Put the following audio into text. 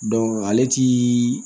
ale ti